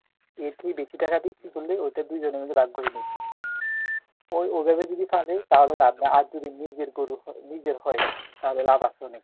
এর থেকে বেশি টাকা বিক্রি করলে ওতে দুজন মিলে ভাগ করে নেবে ওই ওভাবে যদি খাটে তাহলে লাভ নাই আর যদি নিজের গরু নিজের হয় তাহলে লাভ আছে অনেক